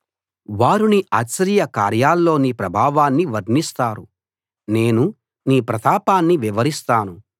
వారు నీ ఆశ్చర్య కార్యాల్లోని ప్రభావాన్ని వర్ణిస్తారు నేను నీ ప్రతాపాన్ని వివరిస్తాను